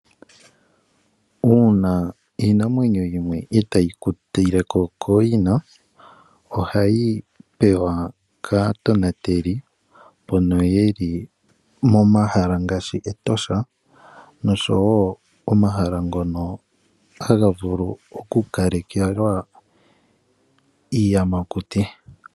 Uuna iinamwenyo yimwe itaayi kutileko kooyina, ohayi pewa aatonateli mbono yeli momahala ngaashi Etosha oshowo omahala ngono haga vulu oku kalekelwa iiyamakuti.